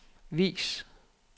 vis